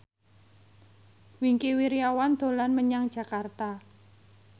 Wingky Wiryawan dolan menyang Jakarta